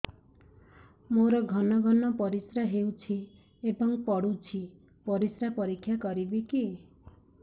ମୋର ଘନ ଘନ ପରିସ୍ରା ହେଉଛି ଏବଂ ପଡ଼ୁଛି ପରିସ୍ରା ପରୀକ୍ଷା କରିବିକି